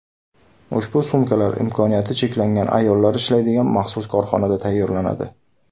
Ushbu sumkalar imkoniyati cheklangan ayollar ishlaydigan maxsus korxonada tayyorlanadi.